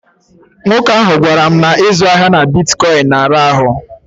Nwoke ahụ gwara m na ịzụ ahịa na bitkọịnị na-ara ahụ.